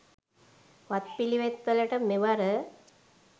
වත්පිළිවෙත් වලට, මෙවර